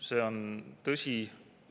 See on tõsi.